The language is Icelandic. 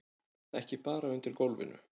Ekki bara undir gólfinu.